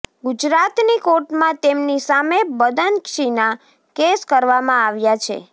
ગુજરાતની કોર્ટમાં તેમની સામે બદનક્ષીના કેસ કરવામાં આવ્ચા છે